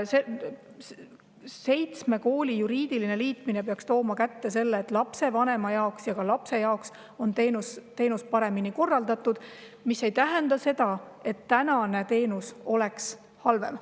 Seitsme kooli juriidiline liitmine peaks kaasa tooma selle, et lapsevanema jaoks ja ka lapse jaoks on teenus paremini korraldatud, mis aga ei tähenda seda, et tänane teenus oleks halvem.